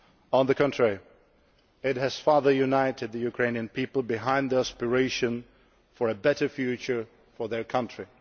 On the contrary, it has further united the Ukrainian people behind the aspiration for a better future for their country.